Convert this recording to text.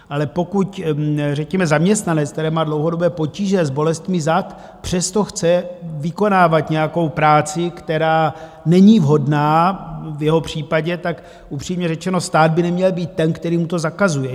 Ale pokud řekněme zaměstnanec, který má dlouhodobé potíže s bolestmi zad, přesto chce vykonávat nějakou práci, která není vhodná v jeho případě, tak upřímně řečeno, stát by neměl být ten, který mu to zakazuje.